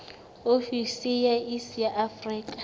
ofisi ya iss ya afrika